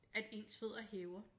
At ens fødder hæver